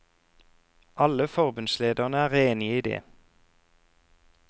Alle forbundslederne er enige i det.